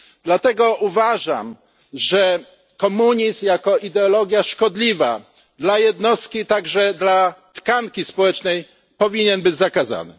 Dlatego uważam, że komunizm, jako ideologia szkodliwa dla jednostki, także dla tkanki społecznej, powinien być zakazany.